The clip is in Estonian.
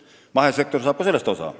Mahesektor saab ka sellest osa.